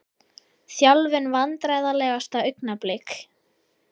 Þjálfun Vandræðalegasta augnablik?